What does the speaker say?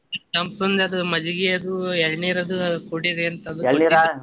ತಂಪಿಂದ್ ಅದ್ ಮಜ್ಜಗಿ ಅದು ಎಳ್ನೀರ್ ಅದು ಕುಡಿರಿ ಅಂತ ಅದು .